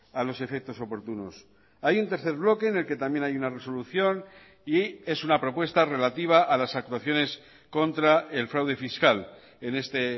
a los efectos oportunos hay un tercer bloque en el que también hay una resolución y es una propuesta relativa a las actuaciones contra el fraude fiscal en este